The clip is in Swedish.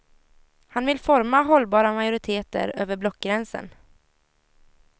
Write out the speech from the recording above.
Han vill forma hållbara majoriteter över blockgränsen.